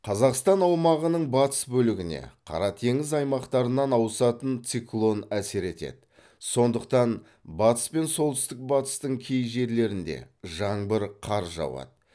қазақстан аумағының батыс бөлігіне қара теңіз аймақтарынан ауысатын циклон әсер етеді сондықтан батыс пен солтүстік батыстың кей жерлеріңде жаңбыр қар жауады